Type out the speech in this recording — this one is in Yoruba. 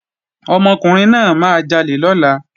Ọmọkùnrin náà máa jalè lọ́la